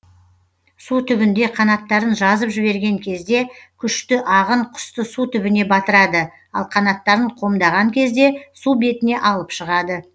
су түбінде қанаттарын жазып жіберген кезде күшті ағын құсты су түбіне батырады ал қанаттарын қомдаған кезде су бетіне алып шығады